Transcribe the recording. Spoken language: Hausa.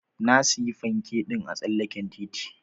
Na siya fanke ɗin a tsallaken titi.